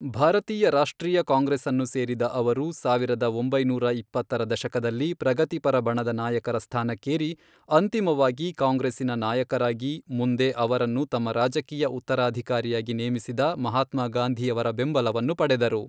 ಭಾರತೀಯ ರಾಷ್ಟ್ರೀಯ ಕಾಂಗ್ರೆಸ್ಸನ್ನು ಸೇರಿದ ಅವರು, ಸಾವಿರದ ಒಂಬೈನೂರ ಇಪ್ಪತ್ತರ ದಶಕದಲ್ಲಿ ಪ್ರಗತಿಪರ ಬಣದ ನಾಯಕರ ಸ್ಥಾನಕ್ಕೇರಿ, ಅಂತಿಮವಾಗಿ ಕಾಂಗ್ರೆಸ್ಸಿನ ನಾಯಕರಾಗಿ, ಮುಂದೆ ಅವರನ್ನು ತಮ್ಮ ರಾಜಕೀಯ ಉತ್ತರಾಧಿಕಾರಿಯಾಗಿ ನೇಮಿಸಿದ ಮಹಾತ್ಮಾ ಗಾಂಧಿಯವರ ಬೆಂಬಲವನ್ನು ಪಡೆದರು.